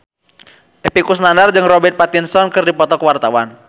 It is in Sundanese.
Epy Kusnandar jeung Robert Pattinson keur dipoto ku wartawan